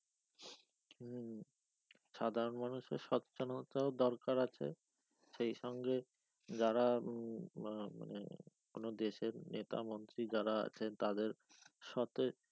হম সাধারণ মানুষের স্বতজনতাও দরকার আছে সেই সঙ্গে যারা উম মানে কোন দেশের নেতা মন্ত্রী যারা আছে তাদের সাথে,